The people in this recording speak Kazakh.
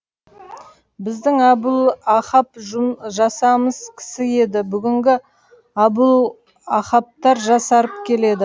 біздің әбулақап жасамыс кісі еді бүгінгі әбулақаптар жасарып келеді